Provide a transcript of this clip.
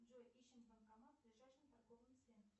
джой ищем банкомат в ближайшем торговом центре